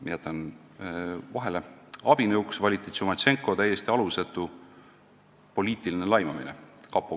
Abinõuks valiti Tšumatšenko täiesti alusetu poliitiline laimamine.